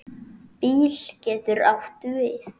BÍL getur átt við